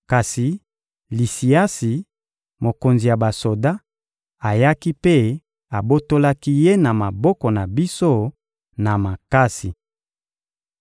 kasi Lisiasi, mokonzi ya basoda, ayaki mpe abotolaki ye na maboko na biso na makasi.